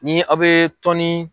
Ni aw bɛ tɔnni